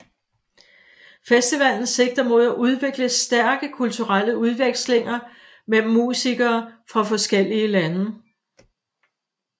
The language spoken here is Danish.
Festivalen sigter mod at udvikle stærke kulturelle udvekslinger mellem musikere fra forskellige lande